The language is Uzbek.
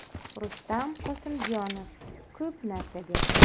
Rustam Qosimjonov: Ko‘p narsa berdi.